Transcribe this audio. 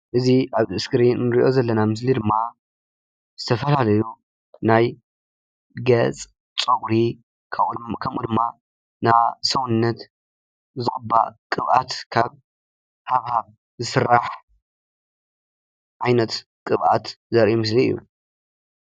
እዚ ኣብዚ እስክሪን ንሪኦ ምስሊ ድማ ዝተፈላለዩ ናይ ገፅ፣ ፀጉሪ ከምኡ ከምኡ ድማ ናይ ሰውነት ዝቕባእ ቅብኣት ካብ ሃብሃብ ዝስራሕ ዓይነት ቅብኣት ዘርኢ ምስሊ እዩ፡፡